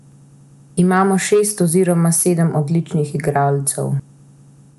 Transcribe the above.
Imajo šest oziroma sedem odličnih igralcev.